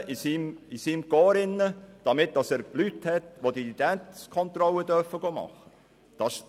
Oder soll er sein Korps aufstocken, um Leute zu haben, die Identitätskontrollen machen dürfen?